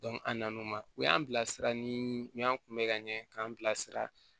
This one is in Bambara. an nan'o ma u y'an bila sira ni u y'an kunbɛ ka ɲɛ k'an bilasira